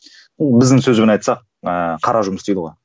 біздің сөзбен айтсақ ыыы қара жұмыс дейді ғой